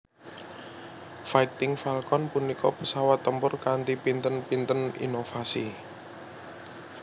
Fighting Falcon punika pesawat tempur kanthi pinten pinten inovasi